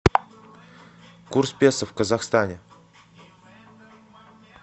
курс песо в казахстане